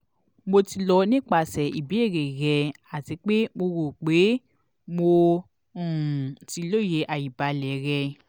mo ti lọ nipasẹ ibeere rẹ ati pe mo ro pe mo um ti loye aibalẹ rẹ